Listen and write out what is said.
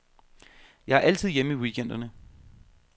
Jeg er altid hjemme i weekenderne.